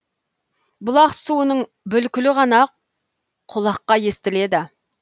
бұлақ суының бүлкілі ғана құлаққа естіледі